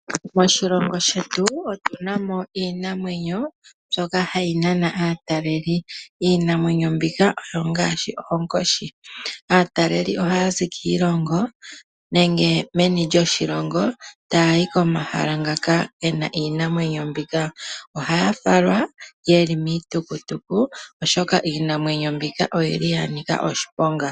Moshilongo shetu otu na mo iinamwenyo mbyoka hayi nana aatalelipo. Iinamwenyo mbika ongaashi oonkoshi . Aatalelipo ohaya zi kiilongo nenge meni lyoshilongo taya yi komahala ngaka ge na iinamwenyo mbika. Ohaya falwa ye li miitukutu, oshoka iinamwenyo mbika oya nika oshiponga.